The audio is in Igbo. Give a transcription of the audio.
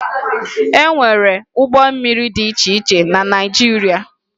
E nwere ụgbọ mmiri dị iche iche na Naịjirịa